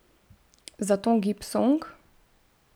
Zaton gibsonk?